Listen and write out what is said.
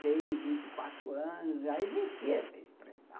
vinte e três, vinte e quatro anos, já existia essa expressão.